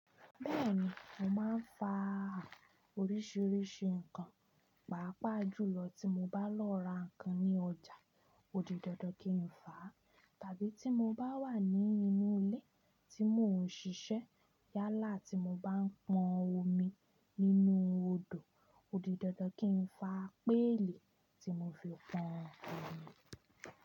Bẹ́ẹ̀ni, mo máa ń faa oríṣiríṣi nǹkan, pàápàá jùlọ tí mo bá lọ ra nǹkan ní ọjà, ó di dandan kí n fa, tàbí tí mo bá wà ní inú ilé tí mò ń ṣiṣẹ́. Yálà tí mo bá ń pọn omi nínú odò ó di dandan kí n fa pẹ́lì tí mo fi pọn omi.